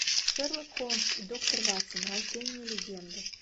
шерлок холмс и доктор ватсон рождение легенды